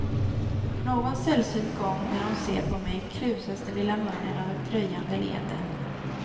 Någon sällsynt gång när hon ser på mig, krusas den lilla munnen av ett dröjande leende.